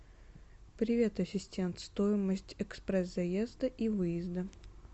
привет ассистент стоимость экспресс заезда и выезда